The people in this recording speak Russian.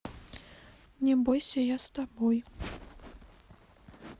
не бойся я с тобой